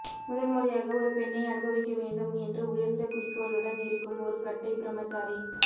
முதல் முறையாக ஒரு பெண்ணை அனுபவிக்க வேண்டும் என்று உயர்ந்த குறிக்கோளுடன் இருக்கும் ஒரு கட்டை பிரம்மசாரி